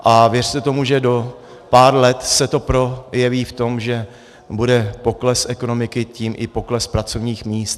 A věřte tomu, že do pár let se to projeví v tom, že bude pokles ekonomiky, tím i pokles pracovních míst.